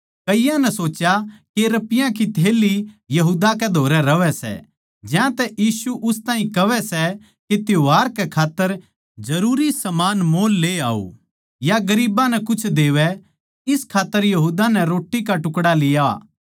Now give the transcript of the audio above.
कईयाँ नै सोच्या के रपियाँ की थैल्ली यहूदा कै धोरै रहवै सै ज्यांतै उस ताहीं कहवै सै के त्यौहार कै खात्तर जरूरी समान मोल ले आओ या गरीबां नै कुछ देवै इस खात्तर यहूदा नै रोट्टी का टुकड़ा लिया